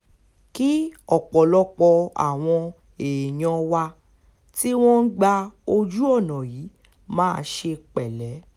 kí ọ̀pọ̀lọpọ̀ àwọn èèyàn wa tí wọ́n ń gba ojú ọ̀nà yìí máa ṣe pẹ̀lẹ́